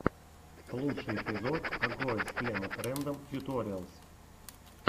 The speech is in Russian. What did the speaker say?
лучший эпизод агоез клемод рэндом тьюториалс